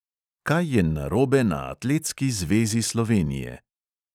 Kaj je narobe na atletski zvezi slovenije?